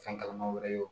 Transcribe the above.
Fɛn kalaman wɛrɛ ye